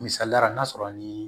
Misaliya ra n'a sɔrɔ ni